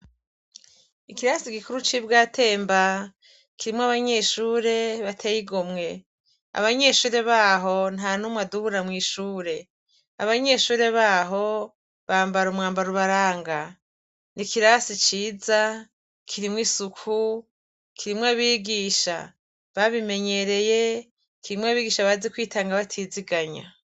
Ikirasi gikuru c’Ibwatemba, kirimw’abanyeshure bateyigomwe. Abanyeshure baho ,ntanumwe adubura mw’ishure. Abanyeshure baho, bambar’umwambar’ubaranga. N’ikirasi ciza, kirimw’isuku, kirimw’abigisha ,babimenyereye, kirimw’abigisha bazi kwitanga batiziganya.